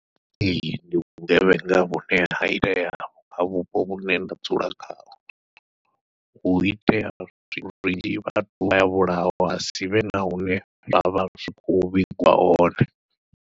Ee ndi vhugevhenga vhune ha itea kha vhupo vhune nda dzula khaho, hu itea ha sivhe na hune havha hu khou vhingiwa hone.